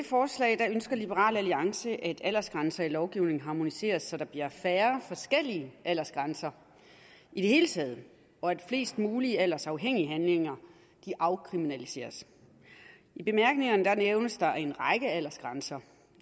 forslag ønsker liberal alliance at aldersgrænser i lovgivningen harmoniseres så der bliver færre forskellige aldersgrænser i det hele taget og at flest mulige aldersafhængige handlinger afkriminaliseres i bemærkningerne nævnes en række aldersgrænser